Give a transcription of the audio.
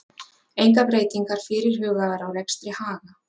Engar breytingar fyrirhugaðar á rekstri Haga